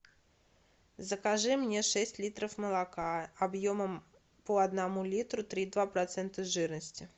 закажи мне шесть литров молока объемом по одному литру три и два процента жирности